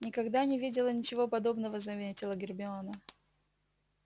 никогда не видела ничего подобного заметила гермиона